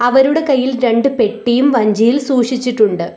അവരുടെ കയ്യിൽ രണ്ട്‌ പെട്ടിയും വഞ്ചിയിൽ സൂക്ഷിച്ചിട്ടുണ്ട്.